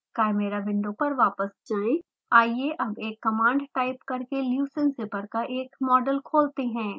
chimera window पर वापस जाएँ आइये अब एक command टाइप करके leucine zipper का एक मॉडल खोलते हैं